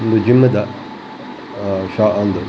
ಒಂದು ಜಿಮ್ ದ ಆ ಶಾ ಉಂದು.